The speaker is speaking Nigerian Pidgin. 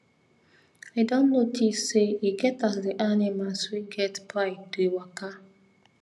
i don notice say e get as the animlas wey get pride dey waka